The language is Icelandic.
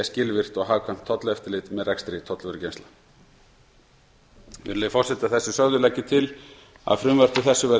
skilvirkt og hagkvæmt tolleftirlit með rekstri tollvörugeymslna virðulegi forseti að þessu sögðu legg ég til að frumvarpi þessu verði